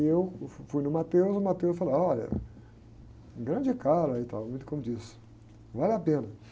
E eu, uh, fui no, e o falou, olha, grande cara e tal, muito como diz, vale a pena.